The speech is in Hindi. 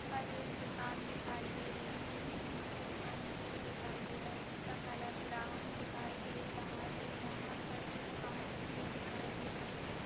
पर एक दुकान दिखाई दे रही है। जिसमे कुछ फ़र्निचर दिखाई दे रहा जिसका कलर ब्राउन दिखाई दे रहा है। यहा पर कुछ काच भी दिखाई दे रही है।